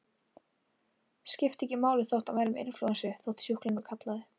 Skipti ekki máli þótt hann væri með inflúensu, þótt sjúklingur kallaði.